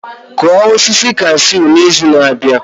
Kụọ osisi cashew n'izu na-abịa